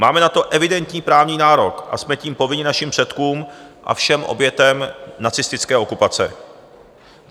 Máme na to evidentní právní nárok a jsme tím povinni našim předkům a všem obětem nacistické okupace.